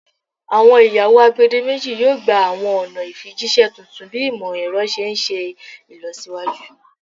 Awọn iyawo agbedemeji yoo gba awọn ọna ifijiṣẹ tuntun bi imọ-ẹrọ ti n ṣe ilọsiwaju